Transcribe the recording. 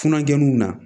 Funankɛnunw na